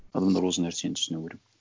адамдар осы нәрсені түсіну керек